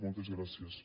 moltes gràcies